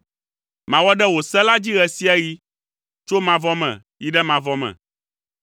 Mawɔ ɖe wò se la dzi ɣe sia ɣi, tso mavɔ me yi ɖe mavɔ me.